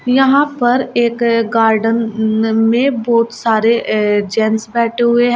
यहां पर एक गार्डेन में बहोत सारे ए जेंट्स बैठे हुए हैं।